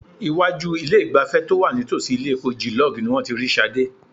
Iwájú ilé-ìgbafẹ́ to wà nítòsí ilé epo Gilog ni wọ́n ti rí Ṣadé.